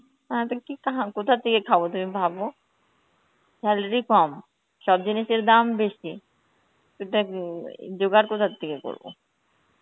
হ্যাঁ তো কি কাহাম~ কোথা থেকে খাব তুমি ভাবো. salary কম, সব জিনিসের দাম বেশি, ওটা কি~ উম জোগাড় কোথা থেকে করবো?